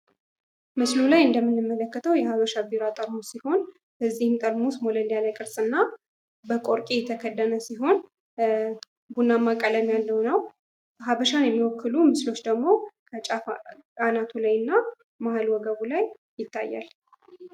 ምስሉ ላይ እንደምንመለከተው የ ሃበሻ ቢራ ጠርሙስ ሲሆን ፤ በዚህም ጠርሙስ ሞለል ያለ ቅርጽ እና በቆርቂ የተከደነ ሲሆን ቡናማ ቀለም ያለው ነው። ሀበሻን የሚወክሉ ምስሎች ደግሞ በጫፍ አናቱላይ እና መሃል ወገቡ ላይ ይታያል።